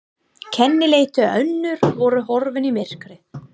Kennileiti önnur voru horfin í myrkrið.